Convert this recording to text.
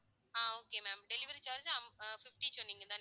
ah okay ma'am delivery charge ah fifty சொன்னீங்கதானே